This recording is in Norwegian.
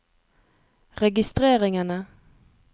registreringene